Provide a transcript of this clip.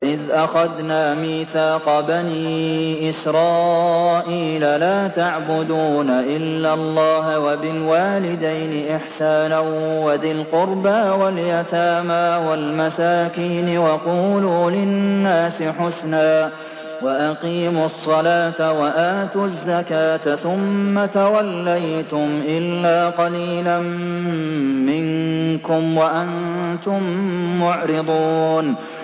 وَإِذْ أَخَذْنَا مِيثَاقَ بَنِي إِسْرَائِيلَ لَا تَعْبُدُونَ إِلَّا اللَّهَ وَبِالْوَالِدَيْنِ إِحْسَانًا وَذِي الْقُرْبَىٰ وَالْيَتَامَىٰ وَالْمَسَاكِينِ وَقُولُوا لِلنَّاسِ حُسْنًا وَأَقِيمُوا الصَّلَاةَ وَآتُوا الزَّكَاةَ ثُمَّ تَوَلَّيْتُمْ إِلَّا قَلِيلًا مِّنكُمْ وَأَنتُم مُّعْرِضُونَ